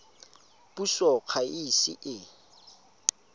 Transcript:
puso ga e ise e